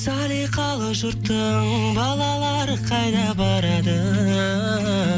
салиқалы жұрттың балалары қайда барады